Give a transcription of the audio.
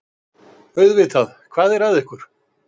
Auðvitað, hvað er að ykkur?